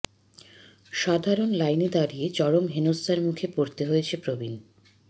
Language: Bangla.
সাধারণ লাইনে দাঁড়িয়ে চরম হেনস্থার মুখে পড়তে হয়েছে প্রবীণ